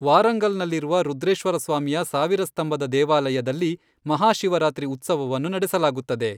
ವಾರಂಗಲ್ನಲ್ಲಿರುವ ರುದ್ರೇಶ್ವರ ಸ್ವಾಮಿಯ ಸಾವಿರ ಸ್ತಂಭದ ದೇವಾಲಯದಲ್ಲಿ ಮಹಾಶಿವರಾತ್ರಿ ಉತ್ಸವವನ್ನು ನಡೆಸಲಾಗುತ್ತದೆ.